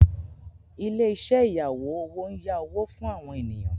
Ilé-iṣẹ́ ìyáwó owó ń yá owó fún àwọn ènìyàn.